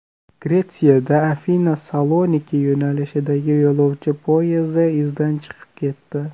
Gretsiyada Afina Saloniki yo‘nalishidagi yo‘lovchi poyezdi izdan chiqib ketdi.